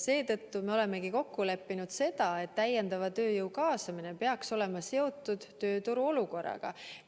Seetõttu me olemegi kokku leppinud, et täiendava tööjõu kaasamine peaks olema seotud tööturu olukorraga.